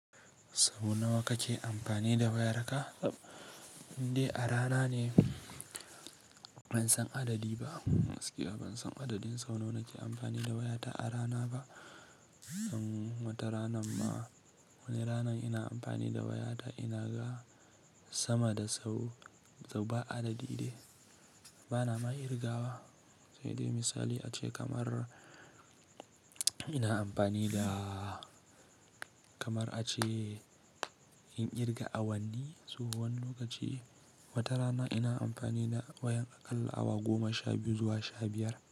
Sau nawa kake amfani da wayarka? Inde a rana ne ban san adadi ba, gaskiya ban san adadin sau nawa nake amfani da wayata a rana ba. Wata rana ma wani rana ina amfani da wayata ina ga sama da sau, sau ba adadi ne, bana ma kirgawa. Sai dai misali ace kamar ina amfani da kamar ace in kirga awanni, tsohon lokaci wata rana ina amfani da wayan aƙalla awa goma sha biyu zuwa sha biyar.